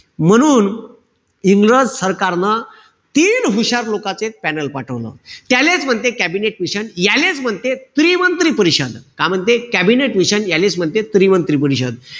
म्हणून इंग्रज सरकारनं तीन हुशार लोकाच panel पाठवलं. त्यालेच म्हणते कॅबिनेट मिशन, यालेच म्हणते त्रिमंत्री परिषद. काय म्हणते? कॅबिनेट मिशन, यालेचं म्हणते त्रिमंत्री परिषद.